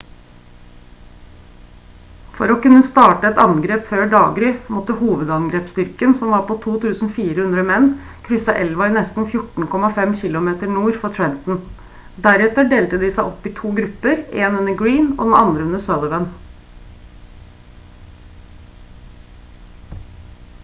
for å kunne starte et angrep før daggry måtte hovedangrepsstyrken som var på 2400 menn krysse elva nesten 14,5 km nord for trenton deretter delte de seg opp i to grupper én under greene og den andre under sullivan